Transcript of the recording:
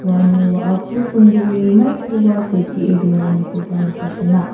uno wa·ako songdoe maikoba setee donanikoba nikatenga.